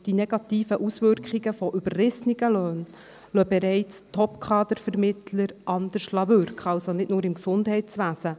Die negativen Auswirkungen überrissener Löhne lassen Topkader-Vermittler bereits handeln, nicht nur im Gesundheitswesen.